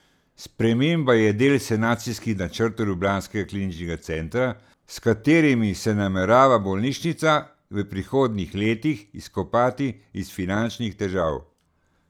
Sprememba je del sanacijskih načrtov ljubljanskega kliničnega centra, s katerimi se namerava bolnišnica v prihodnjih letih izkopati iz finančnih težav.